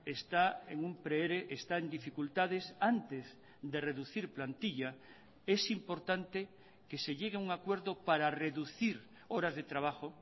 está en un pre ere está en dificultades antes de reducir plantilla es importante que se llegue a un acuerdo para reducir horas de trabajo